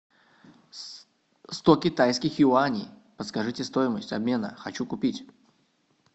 сто китайских юаней подскажите стоимость обмена хочу купить